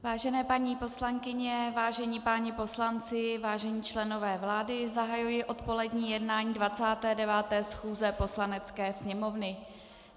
Vážené paní poslankyně, vážení páni poslanci, vážení členové vlády, zahajuji odpolední jednání 29. schůze Poslanecké sněmovny.